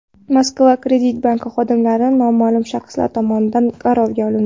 Moskva kredit banki xodimlari noma’lum shaxslar tomonidan garovga olindi.